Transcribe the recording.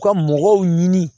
U ka mɔgɔw ɲini